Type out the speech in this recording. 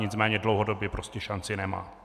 Nicméně dlouhodobě prostě šanci nemá.